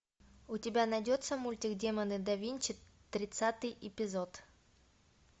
у тебя найдется мультик демоны да винчи тридцатый эпизод